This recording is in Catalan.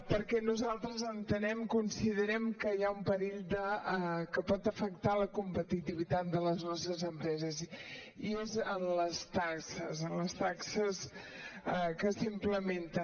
perquè nosaltres entenem considerem que hi ha un perill que pot afectar la competitivitat de les nostres empreses i és en les taxes en les taxes que s’implementen